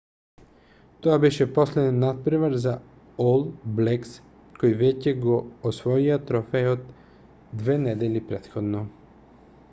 тоа беше последен натпревар за ол блекс кои веќе го освоија трофејот 2 недели претходно